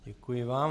Děkuji vám.